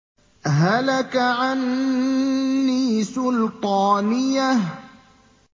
هَلَكَ عَنِّي سُلْطَانِيَهْ